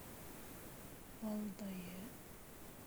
валдае